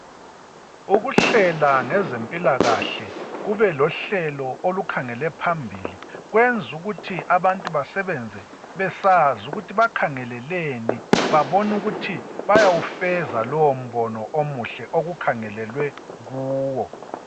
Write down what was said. Ukuhlela ngezempilakahle kube lohlelo olukhangela phambili kwenza ukuthi abantu basebenze besazi ukuthi bakhangeleleni babone ukuthi bayawufeza lowombono omuhle okukhangelelwe kuwo.